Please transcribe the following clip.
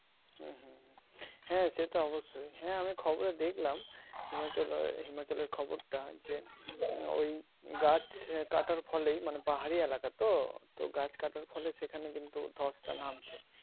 হুম হুম হুম হ্যাঁ সে তো অবশ্যই হ্যাঁ আমি খবরের দেখলাম হিমাচল হিমাচলের খবরটা যে ওই গাছ কাটার ফলেই মানে পাহাড়ি এলাকা তো গাছটার ফলে সেখানে কিন্তু ধশটা নামছে